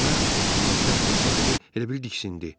Hə-ə, deyə teatrın sahibi elə bil diksindi.